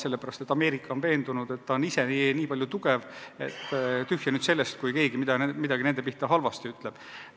Sellepärast et Ameerika on veendunud, et ta on nii palju tugev riik, et tühja sellest, kui keegi midagi tema kohta halvasti ütleb.